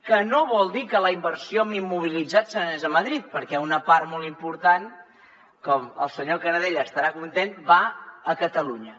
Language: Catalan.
que no vol dir que la inversió en immobilitzat se n’anés a madrid perquè una part molt important el senyor canadell estarà content va a catalunya